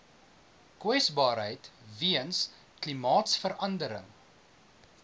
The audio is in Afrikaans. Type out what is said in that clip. kwesbaarheid weens klimaatsverandering